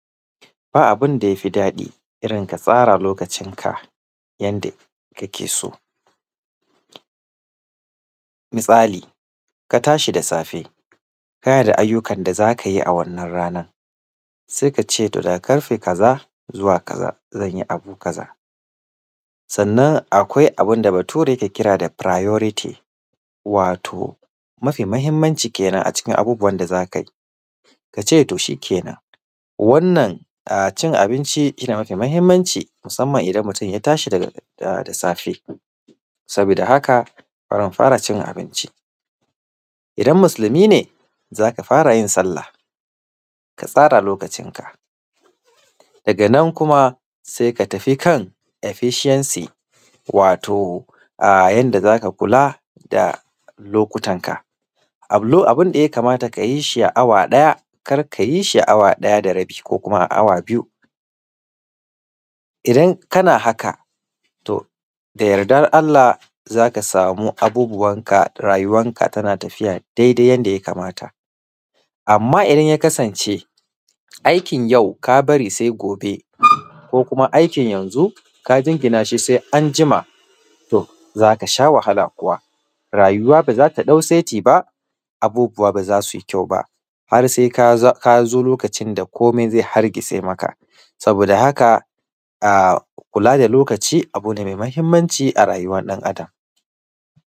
Ba abin da ya fi daɗi irin ka tsara lokacinka yanda kake so, misali, ka tashi da safe kana da ayyukan da za ka yi a wannan ranan, se k ace to da karfe kaza zuwa kaza zan yi abu kaza. Sannan akwai abin da Bature ke kira da “Priority” wato, mafi mahimmanci kenan a cikin abubuwan da za kai. Ka ce, to shikenan wannan a; cin abinci, shi ne mafi mahimmanci musamman idan mutun ya tashi daga a; da safe, sabida haka bari in fara cin abinci. Idam musilmi ne, za ka fara yin sallah, ka tsara lokacinka, daga nan kuma, se ka tafi kan “efficiency” wato, a; yanda za ka kula da lokutanka. Abulo; abin da ya kamata ka yi shi a awa ɗaya, kar ka yi shi a awa ɗaya da rabi ko kuma a awa biyu. Idan kana haka, to da yardan Allah za ka samu abubuwanka rayuwanka tana tafiya dedai yanda ya kamata. Amma idan ya kasance, aikin yau ka bari se gobe ko kuma aikin yanzu ka jingina shi se anjima, to, za ka sha wahala, rayuwa ba za ta ɗau seti ba, abubuwa ba za sui kyau ba, har sai ka za; ka zo lokacin da komai ze hargitse maka. Saboda haka, a; kula da lokaci, abu ne me mahimmanci a rayuwar ɗan adam.